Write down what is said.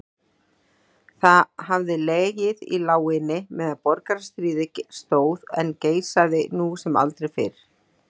Það hafði legið í láginni meðan borgarastríðið stóð en geisaði nú sem aldrei fyrr.